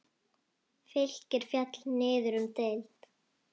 Fylkir féll niður um deild.